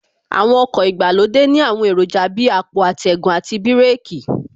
Àwọn ọkọ̀ ìgbàlódé ní àwọn èròjà Bíi àpò atẹ́gùn àti bíràkì